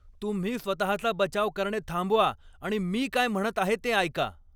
तुम्ही स्वतहाचा बचाव करणे थांबवा आणि मी काय म्हणत आहे ते ऐका.